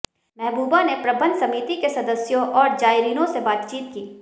महबूबा ने प्रबंध समिति के सदस्यों और जायरीनों से बातचीत की